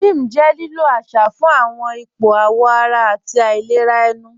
Ním jẹ́ lílò àṣà fún awọn ìpọ̀ àwọ̀ ara àti ìlẹ̀rà ènù.